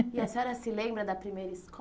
E a senhora se lembra da primeira